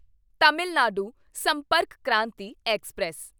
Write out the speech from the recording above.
Tamil Nadu Sampark Kranti express